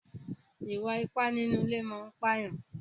Ìwà ipá nínú ilé máa ń pàyàn.